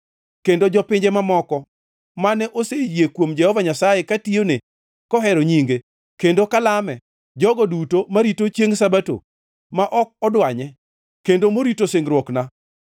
Kendo jopinje mamoko mane oseyie kuom Jehova Nyasaye katiyone kohero nyinge, kendo kalame, jogo duto marito chiengʼ Sabato ma ok odwanye kendo morito singruokna,